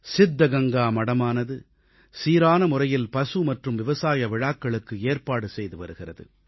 சித்தகங்கா மடமானது சீரான முறையில் பசு மற்றும் விவசாய விழாக்களுக்கு ஏற்பாடு செய்துவருகிறது